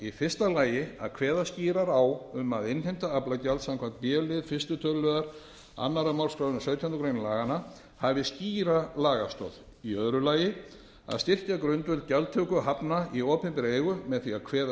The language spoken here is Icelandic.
í fyrsta lagi að kveða skýrar á um að innheimta aflagjalds samkvæmt b lið fyrstu tl annarrar málsgreinar sautjándu grein laganna hafi skýra lagastoð í öðru lagi að styrkja grundvöll gjaldtöku hafna í opinberri eigu með því að kveða